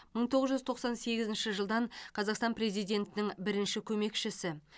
мың тоғыз жүз тоқсан сегізінші жылдан қазақстан президентінің бірінші көмекшісі